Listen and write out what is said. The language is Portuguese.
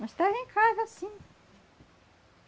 Mas estava em casa, sim.